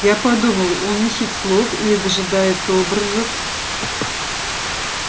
я подумал он ищет слов или дожидается образов